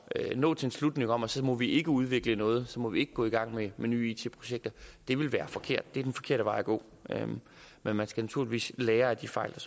at nå til en slutning om at så må vi ikke udvikle noget at så må vi ikke gå i gang med nye it projekter ville være forkert det er den forkerte vej at gå men man skal naturligvis lære af de fejl